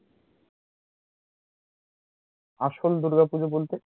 আসল দূর্গা পূজো বলতে?